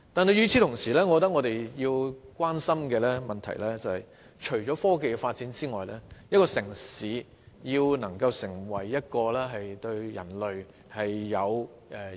與此同時，我認為我們要關心的問題，更是一個城市如何能對人類及世界有所貢獻。